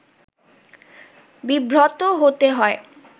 বিব্রত হতে হয়